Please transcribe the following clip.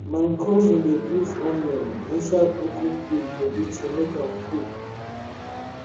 my cousin dey put onion inside broken fridge body to make am cold